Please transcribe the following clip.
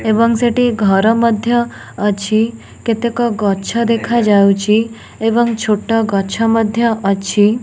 ଏବଂ ସେଠି ଘର ମଧ୍ୟ ଅଛି କେତେକ ଗଛ ଦେଖା ଯାଉଚି ଏବଂ ଛୋଟ ଗଛ ମଧ୍ୟ ଅଛି।